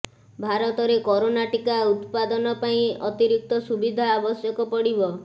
ଭାରତରେ କରୋନା ଟୀକା ଉତ୍ପାଦନ ପାଇଁ ଅତିରିକ୍ତ ସୁବିଧା ଆବଶ୍ୟକ ପଡିବ